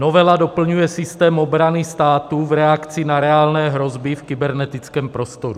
Novela doplňuje systém obrany státu v reakci na reálné hrozby v kybernetickém prostoru.